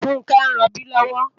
Funke n ròbi lòwò